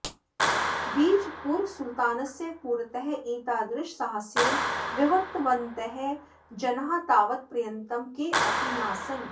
बीजपुरसुलतानस्य पुरतः एतादृशसाहसेन व्यवहृतवन्तः जनाः तावत्पर्यन्तं केऽपि नासन्